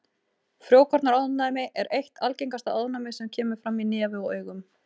Frjókornaofnæmi er eitt algengasta ofnæmið sem kemur fram í nefi og augum.